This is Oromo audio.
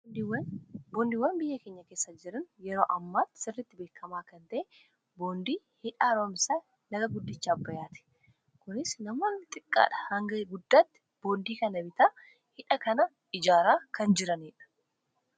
Boondiiwwan biyya keenya keessa jiran yeroo ammaatti sirritti beekamaa kan ta'e boondii hidhaa haaroomsaa laga guddichaa abbayaati kunis nama xiqqaa dha hanga guddaatti boondii kana bitaa hidha kana ijaaraa kan jiraniidha.